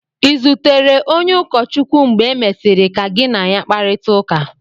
Ị̀ zutere onye ụkọchukwu mgbe e mesịrị ka gị na ya kparịta ụka?